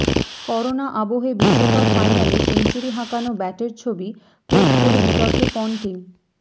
corona আবহে বিশ্বকাপ ফাইনালে সেঞ্চুরি হাঁকানো ব্যাটের ছবি পোস্ট করে বির্তকে পন্টিং